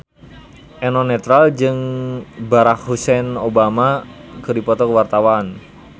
Eno Netral jeung Barack Hussein Obama keur dipoto ku wartawan